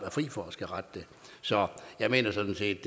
er fri for at skulle rette det så jeg mener sådan set